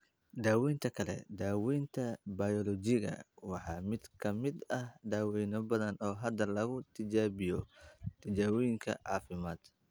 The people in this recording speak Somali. Daaweyn kale, daawaynta bayoolojiga, waa mid ka mid ah daawayno badan oo hadda lagu tijaabiyo tijaabooyinka caafimaad.